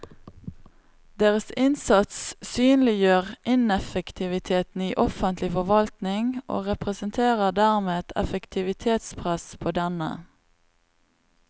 Deres innsats synliggjør ineffektiviteten i offentlig forvaltning og representerer dermed et effektivitetspress på denne.